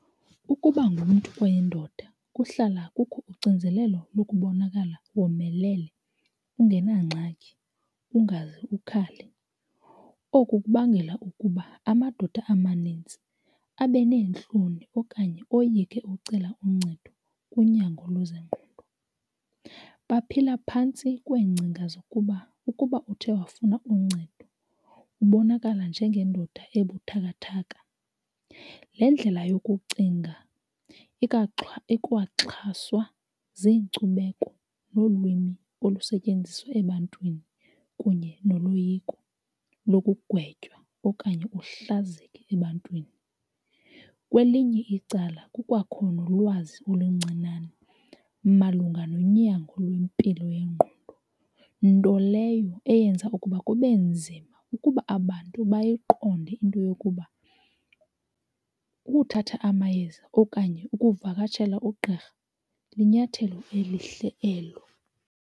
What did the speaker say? Ukuba ngumntu oyindoda kuhlala kukho ucinzelelo lokubonakala womelele ungenangxaki, ungaze ukhale. Oku kubangela ukuba amadoda amanintsi abe neentloni okanye oyike ucela uncedo kunyango lwezengqondo. Baphila phantsi kweengcinga zokuba ukuba uthe wafuna uncedo ubonakala njengendoda ebuthakathaka. Le ndlela yokucinga ikwaxhaswa ziinkcubeko nolwimi olusetyenziswa ebantwini kunye noloyiko lokukugwetywa okanye uhlazeka ebantwini. Kwelinye icala kukwakho nolwazi oluncinane malunga nonyango lwempilo yengqondo, nto leyo eyenza ukuba kube nzima ukuba abantu bayiqonde into yokuba ukuthatha amayeza okanye ukuvakashela ugqirha linyathelo elihle elo.